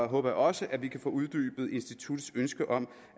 håber jeg også at vi kan få uddybet instituttets ønske om